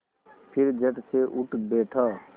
फिर झटसे उठ बैठा